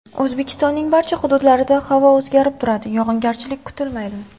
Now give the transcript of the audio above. O‘zbekistonning barcha hududlarida havo o‘zgarib turadi, yog‘ingarchilik kutilmaydi.